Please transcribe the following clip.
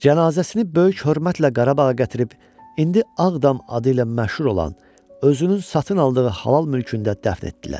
Cənazəsini böyük hörmətlə Qarabağa gətirib indi Ağdam adı ilə məşhur olan özünün satın aldığı halal mülkündə dəfn etdilər.